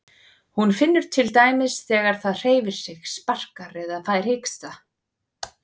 Hún finnur til dæmis þegar það hreyfir sig, sparkar eða fær hiksta.